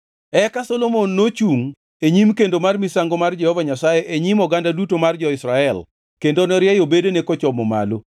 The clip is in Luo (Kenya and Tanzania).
Eka Solomon nochungʼ e nyim kendo mar misango mar Jehova Nyasaye e nyim oganda duto mar jo-Israel kendo norieyo bedene kochomo malo.